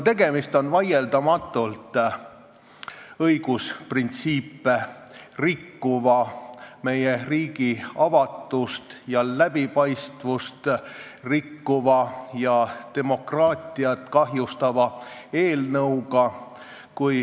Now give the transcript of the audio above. Tegemist on vaieldamatult õigusprintsiipe rikkuva, samuti meie riigi avatust ja läbipaistvust rikkuva ning demokraatiat kahjustava eelnõuga.